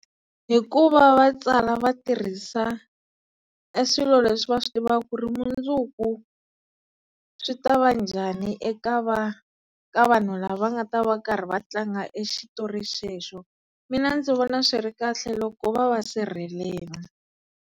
Hikuva va tsala va tirhisa e swilo leswi va swi tivaka ku ri mundzuku swi tava njhani eka va ka vanhu lava nga ta va karhi va tlanga e xitori xexo, mina ndzi vona swi ri kahle loko va va sirhelela.